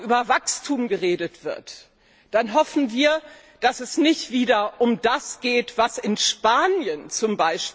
Wenn morgen über Wachstum geredet wird, dann hoffen wir, dass es nicht wieder um das geht, was in Spanien z.